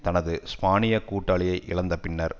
தனது ஸ்பானிய கூட்டாளியை இழந்த பின்னர்